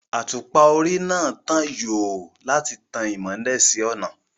Àtùpà orí náà ń tan yòò láti tàn mọ́lẹ̀ sí ọ̀nà